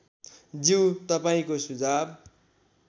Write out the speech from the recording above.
ज्यू तपाईँको सुझाव